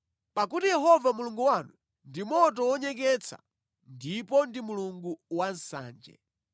Pakuti Yehova Mulungu wanu ndi moto wonyeketsa ndipo ndi Mulungu wansanje.